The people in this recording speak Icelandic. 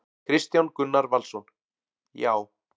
Kristján Gunnar Valsson: Já.